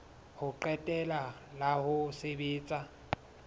ho qetela la ho sebetsa